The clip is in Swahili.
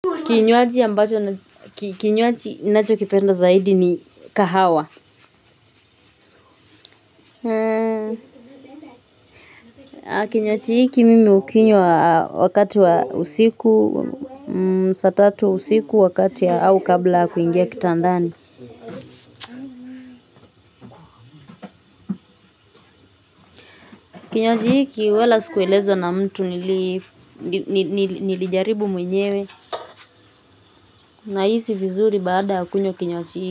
Kinywaji ambacho na kinywaji nacho kipenda zaidi ni kahawa. Kinywaji hiki mimi hukinywa wakati wa usiku, saa tatu usiku wakati ya au kabla ya kuingia kitandani. Kinywaji hiki wala sikuelezwa na mtu nili, nilijaribu mwenyewe. Nahisi vizuri baada ya kunywa kinywaji hiki.